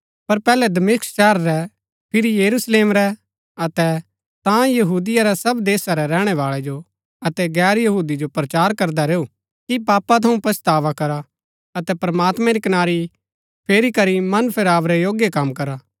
पर पैहलै दमिश्क शहर रै फिरी यरूशलेम रै अतै तां यहूदिया रै सब देशा रै रैहणैवाळै जो अतै गैर यहूदी जो प्रचार करदा रैऊ कि पापा थऊँ पच्छतावा करा अतै प्रमात्मैं री कनारी फेरी करी मन फेराव रै योग्य कम करा